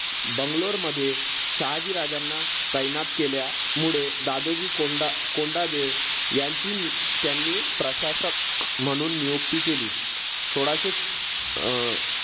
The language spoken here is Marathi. बंगलोर मध्ये शहाजी राजांना तैनात केल्यामुळे दादोजी कोंडा कोंडदेव यांची त्यांनी प्रशासक म्हणून नियुक्ती केली. सोळाशे अं